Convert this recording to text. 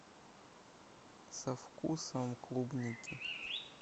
со вкусом клубники